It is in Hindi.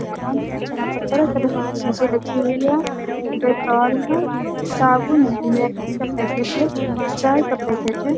दुकान जहाँ तरह-तरह की चीज़े रखी हुई है डेटॉल है साबुन है मैगी का पाकेट है चाय का पाकट है।